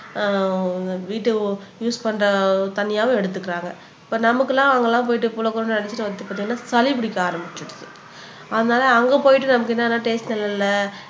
ஆஹ் வீட்டுக்கு யூஸ் பண்ற தண்ணியாவும் எடுத்துக்கிறாங்க இப்ப நமக்கெல்லாம் அங்கெல்லாம் போயிட்டு பாத்தீங்கன்னா சளி பிடிக்க ஆரம்பிச்சுடுது அதனால அங்க போய்ட்டு நமக்கு என்னன்னா டேஸ்ட்